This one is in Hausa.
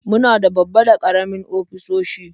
Muna da babba da karamin ofisoshi.